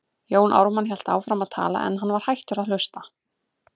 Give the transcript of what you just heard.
Jón Ármann hélt áfram að tala, en hann var hættur að hlusta.